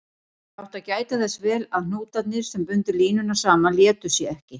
Ég átti að gæta þess vel að hnútarnir, sem bundu línuna saman, létu sig ekki.